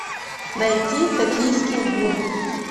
найти токийский гуль